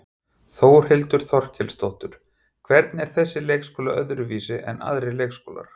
Þórhildur Þorkelsdóttir: Hvernig er þessi leikskóli öðruvísi en aðrir leikskólar?